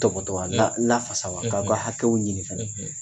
Tɔpɔtɔ wa, , la lafasa wa? , K'aw ka hakɛw ɲini fɛnɛ,